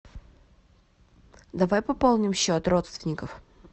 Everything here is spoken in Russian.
давай пополним счет родственников